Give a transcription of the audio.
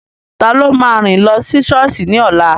Taló máa rìn lọ sí sọ́ọ̀sì ní ọ̀la?